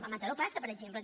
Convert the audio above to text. a mataró passa per exemple